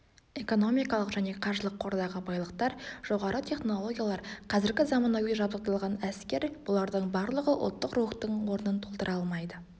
экономикалық және қаржылық қордағы байлықтар жоғары технологиялар қазіргі заманауи жабдықталған әскер бұлардың барлығы ұлттық рухтың орнын толтыра алмайды